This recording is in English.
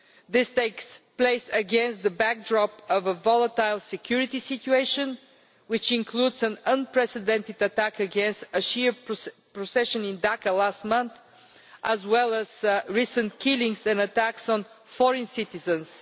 This is taking place against the backdrop of a volatile security situation, which includes an unprecedented attack on a Shia procession in Dhaka last month, as well as recent killings and attacks on foreign citizens.